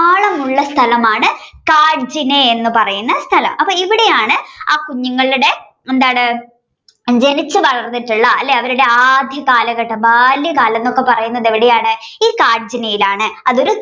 ഉള്ള ഒരുസ്ഥലമാണ് കാഡ്ജിനെ എന്ന് പറയുന്ന സ്ഥലം അപ്പോ ഇവിടെയാണ് ആ കുഞ്ഞുങ്ങളുടെ എന്താണ് ജനിച്ചു വളർന്നിട്ടുള്ള അല്ലേ അവരുടെ ആദ്യ കാലഘട്ടം ബാല്യകാലം എന്നൊക്കെ പറയുന്നത് എവിടെയാണ് ഈ കാഡ്ജിനെയിലാണ് അതൊരു